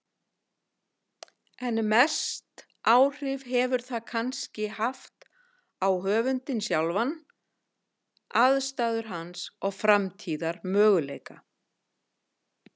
Hann stefndi inn í gildru þröngra fjarða og ótal fjalla, þrammaði þangað með galopin augun.